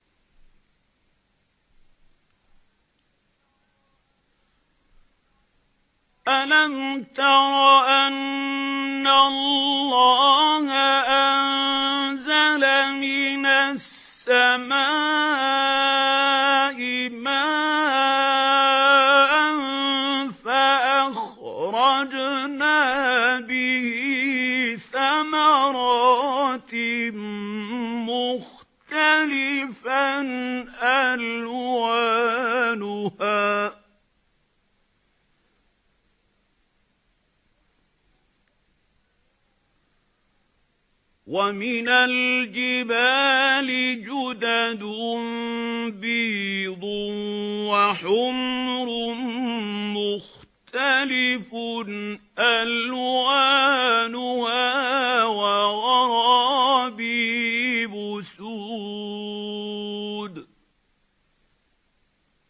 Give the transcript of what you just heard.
أَلَمْ تَرَ أَنَّ اللَّهَ أَنزَلَ مِنَ السَّمَاءِ مَاءً فَأَخْرَجْنَا بِهِ ثَمَرَاتٍ مُّخْتَلِفًا أَلْوَانُهَا ۚ وَمِنَ الْجِبَالِ جُدَدٌ بِيضٌ وَحُمْرٌ مُّخْتَلِفٌ أَلْوَانُهَا وَغَرَابِيبُ سُودٌ